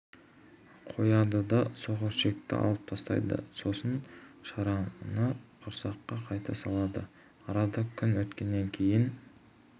қояды да соқыр ішекті алып тастайды сосын шарананы құрсаққа қайта салады арада күн өткеннен кейін